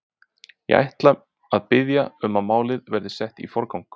Ég ætla að biðja um að málið verði sett í forgang.